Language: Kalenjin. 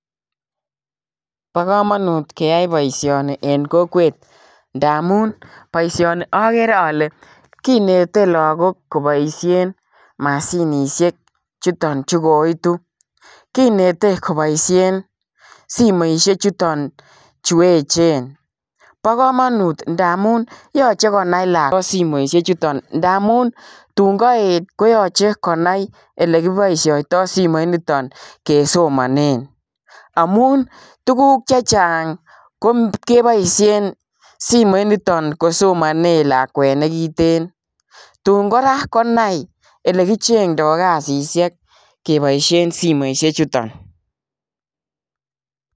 Bo kamanut keyai boisioni en kokwet ndamuun boisioni agere ale kinete lagook kobaisheen mashinisheek chutoon chuu koituu kineteen kobaisheen simoisiek chutoon chu eecheen, bo kamanut ndamuun yachei konai lakwet simoisiek chutoon ndamuun tuun kaet koyachei konai ele kibaishaitaa simoit nitoon kesomanen amuun tuguuk che chaang kebaisheen simoit nitoon kesomanen lakwet nekiteen tuun kora konai ele kichengdai kasisiek kebaisheen simoisiek chutoon.